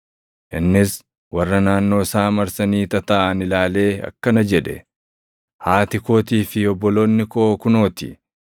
Innis warra naannoo isaa marsanii tataaʼan ilaalee akkana jedhe; “Haati kootii fi obboloonni koo kunoo ti!